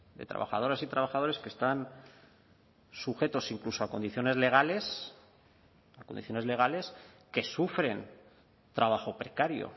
de trabajadoras y trabajadores que están sujetos incluso a condiciones legales a condiciones legales que sufren trabajo precario